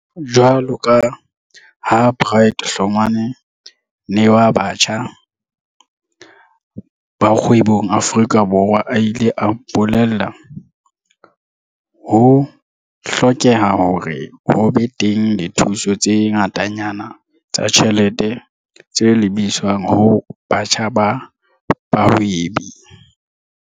Jwaloka ha Bright Hlongwa ne wa Batjha ba Kgwebong Aforika Borwa a ile a mpole lla, ho hlokeha hore ho be teng dithuso tse ngatanyana tsa ditjhelete tse lebiswang ho batjha ba bahwebi.